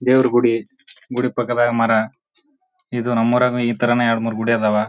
ದೇವರ ಗುಡಿ ಗುಡಿ ಪಕ್ಕದಾಗೆ ಮರ ಇದು ನಮ್ಮೂರಲ್ಲೂ ಈ ತರಾನೇ ಎರಡು ಮೂರು ಗುಡಿ ಅದಾವ.